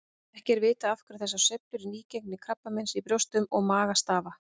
Ekki er vitað af hverju þessar sveiflur í nýgengi krabbameins í brjóstum og maga stafa.